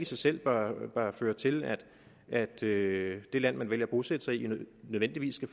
sig selv bør føre til at det det land man vælger at bosætte sig i nødvendigvis skal